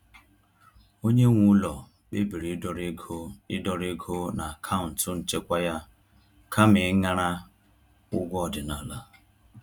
Onye nwe ụlọ kpebiri ịdọrọ ego ịdọrọ ego n’akaụntụ nchekwa ya kama ịṅara ụgwọ ọdịnala.